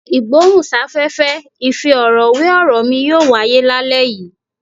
Ìgbóhùn sáfẹ́fẹ́ ìfi ọ̀rọ̀ wé ọ̀rọ̀ mi yóò wáyé lálẹ́ yìí.